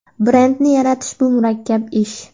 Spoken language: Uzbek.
Brendni yaratish bu murakkab ish.